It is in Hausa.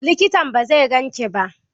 Likitan ba zai gan ka ba.